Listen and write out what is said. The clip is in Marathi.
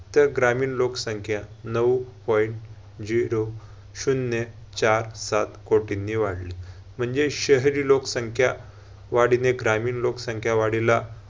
तर ग्रामीण लोकसंख्या नऊ point zero शून्य चार सात कोटींनी वाढली. म्हणजे शहरी लोकसंख्या वाढीने ग्रामीण लोकसंख्या वाढीला